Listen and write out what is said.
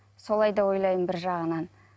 солай да ойлаймын бір жағынан